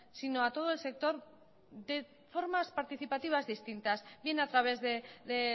si no a todo el sector de formas participativas distintas bien a través de